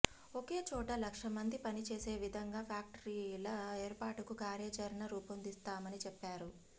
ఒకే చోట లక్ష మంది పనిచేసే విధంగా ఫ్యాక్టరీల ఏర్పాటుకు కార్యాచరణ రూపొందిస్తామని చెప్పారు